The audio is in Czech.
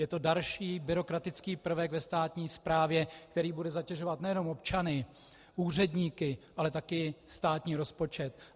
Je to další byrokratický prvek ve státní správě, který bude zatěžovat nejenom občany, úředníky, ale taky státní rozpočet.